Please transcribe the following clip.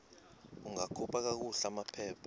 ungakhupha kakuhle amaphepha